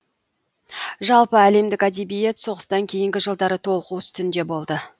жалпы әлемдік әдебиет соғыстан кейінгі жылдары толқу үстінде болды